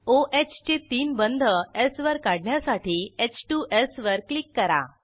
ओह चे तीन बंध स् वर काढण्यासाठी h2स् वर क्लिक करा